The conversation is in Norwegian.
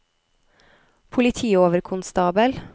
politioverkonstabel